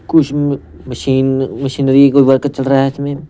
कुछ अ machine machinery कोई वर्क चल रहा है इसमे--